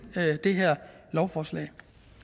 det her lovforslag